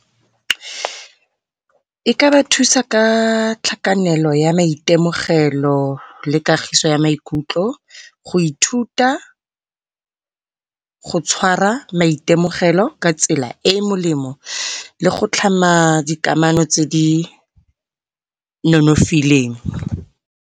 E ka ba thusa ka tlhakanelo ya maitemogelo le kagiso ya maikutlo. Go ithuta, go tshwara maitemogelo ka tsela e e molemo le go tlhama dikamano tse di nonofileng.